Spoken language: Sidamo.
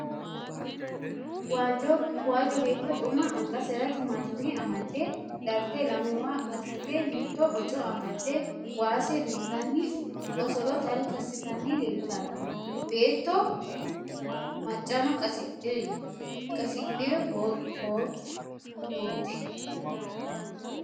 Waajjo beetto xuma angasera timaattime amadde darte lamewa assite mitto boco amadde waase duntanni osolo talka assitanni leeltanno. Beetto maccano qasidhibote.